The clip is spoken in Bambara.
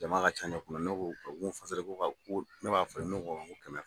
Jama ka ca ne kunna, ne ko, u ko ko ka ko ne b'a falen ? ne ko kɛmɛ